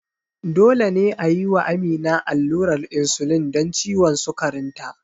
Dole ne a yi wa Amina allurar insulin don ciwon sukarinta.